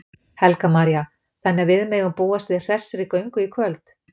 Helga María: Þannig að við megum búast við hressri göngu í kvöld?